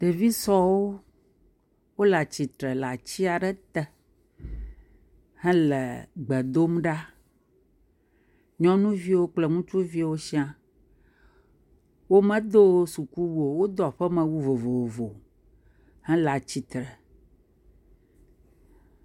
Ɖevi sɔewo wole atsitre le atsi aɖe te hele gbe dom ɖa, nyɔnuviwo kple ŋutsuviwo siaa, womedo sukuwu o, wodo aƒemewu vovovo hele atsitre.